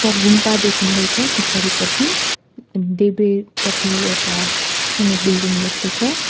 घुम्पा देखिँदैछ पछाडिपटि देब्रेपटि एउटा सानो बिल्डिङ जस्तो छ।